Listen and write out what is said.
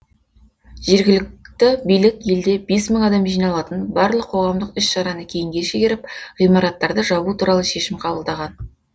жергілікті билік елде бес мың адам жиналатын барлық қоғамдық іс шараны кейінге шегеріп ғимараттарды жабу туралы шешім қабылдаған